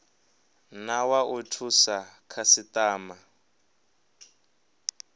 na wa u thusa khasitama